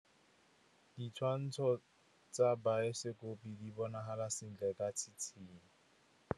Ditshwantshô tsa biosekopo di bonagala sentle ka tshitshinyô.